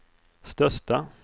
största